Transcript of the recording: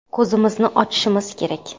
Ko‘zimizni ochishimiz kerak.